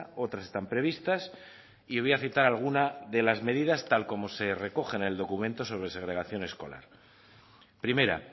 otras están previstas y voy a citar alguna de las medidas tal como se recoge en el documento sobre segregación escolar primera